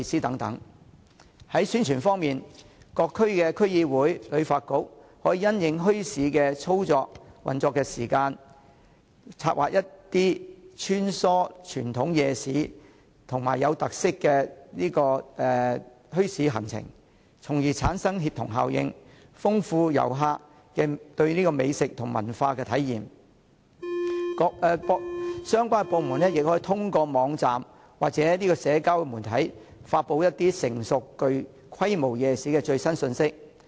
在宣傳方面，各區區議會和香港旅遊發展局可因應墟市的運作時間，策劃一些穿梭傳統夜市及具特色的墟市行程，從而產生協同效應，豐富旅客對美食和文化的體驗，相關部門也可透過網站或社交媒體，為一些成熟和有規模的夜市發布最新信息。